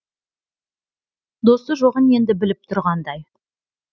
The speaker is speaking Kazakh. досы жоғын енді біліп тұрғандай